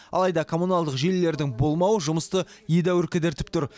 алайда коммуналдық желілердің болмауы жұмысты едәуір кідіртіп тұр